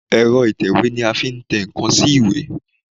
Èrọ ìtẹ̀wé ni a fi ń tẹ ǹkan sí ìwé.